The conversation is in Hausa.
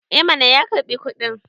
eh mana ya karbi kudin